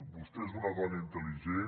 vostè és una dona intel·ligent